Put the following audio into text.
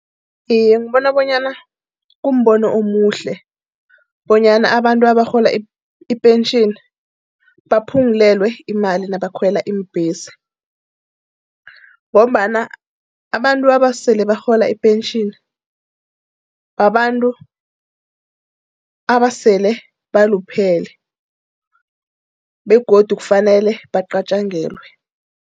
Iye, ngibona bonyana kumbono omuhle bonyana abantu abarhola ipentjheni baphungulelwe imali nabakhwela iimbhesi. Ngombana abantu abasele barhola ipentjhini, babantu abasele baluphele. Begodu kufanele bacatjangelwe.